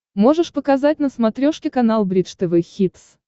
можешь показать на смотрешке канал бридж тв хитс